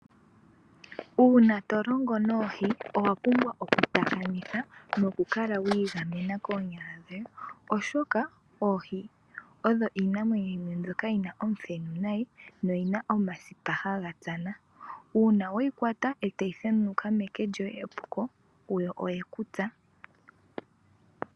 Uuna to longo noohi owa pumbwa okutakamitha nokukala wa igamena koonyala dhoye, oshoka oohi odho iinamwenyo yimwe mbyono yi na omuthenu nayi noyi na omsipa haga tsana. Uuna weyi kwata e tayi thenunuka meke lyoye epuko, yo oye ku tsa.